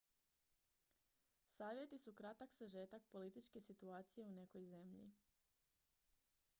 savjeti su kratak sažetak političke situacije u nekoj zemlji